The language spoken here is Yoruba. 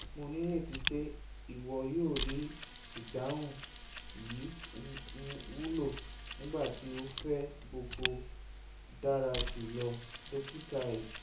mo nireti pe iwọ yoo rii idahun yii wulo!nigbati o fẹ gbogbo dara julọ dokita iliri